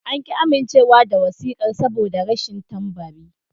An ƙi amincewa da wasiƙar saboda rashin tambari.